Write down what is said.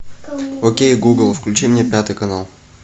окей гугл включи мне пятый канал